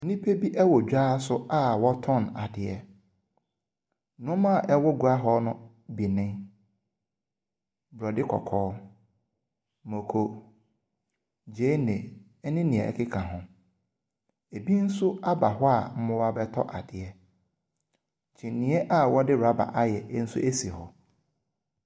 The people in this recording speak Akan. Nnipa bi wɔ dwa so a wɔtɔn ade. Nneɛma a ɛwɔ gua hɔ bi ne borɔde kɔkɔɔ, mako gyeene ne nea ɛkeka ho. Ebi nso aba hɔ a wɔreba abɛtɔ adeɛ. Kyiniiɛ a wɔde rubber ayɛ nso si hɔ.